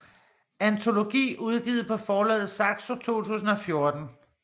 Antologi udgivet på forlaget Saxo 2014